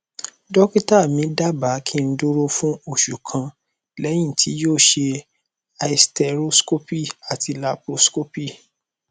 dọkítà mí dábàá kí n dúró fún oṣù kan lẹyìn tí yóò ṣe hysteroscopy àti laproscopy